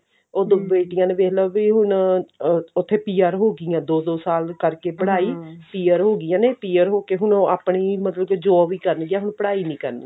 ਉਹ ਦੋ ਬੇਟੀਆਂ ਨੇ ਵੇਖਲੋ ਵੀ ਹੁਣ ਅਰ ਉੱਥੇ PR ਹੋਗੀਆਂ ਦੋ ਦੋ ਸਾਲ ਕਰਕੇ ਪੜ੍ਹਾਈ PR ਹੋਗੀਆਂ ਨੇ PR ਹੋਕੇ ਹੁਣ ਉਹ ਆਪਣੀ ਮਤਲਬ job ਹੀ ਕਰਨਗੀਆਂ ਮਤਲਬ ਪੜ੍ਹਾਈ ਨੀ ਕਰਨਗੀਆਂ